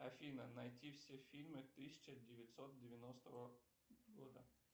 афина найти все фильмы тысяча девятьсот девяностого года